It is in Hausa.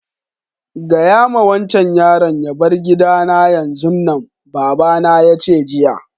Gaya ma wancan yaron ya bar gida na yanzun nan! baba na ya ce jiya.